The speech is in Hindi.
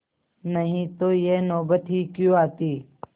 नहीं तो यह नौबत ही क्यों आती